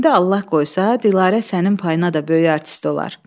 İndi Allah qoysa Dilarə sənin payına da böyük artist olar.